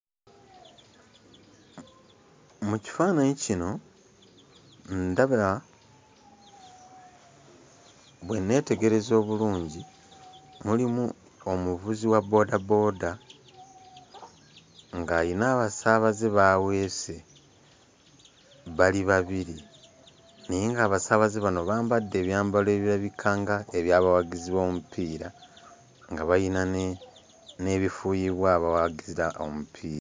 Mu kifaananyi kino ndaba bwe nneetegereza obulungi, mulimu omuvuzi wa booda booda ng'ayina abasaabaze b'aweese bali babiri naye ng'abasaabaze bano bambadde ebyambalo ebirabika nga abawagizi b'omupiira nga bayina ne n'ebifuuyibwa abawagira omupiira.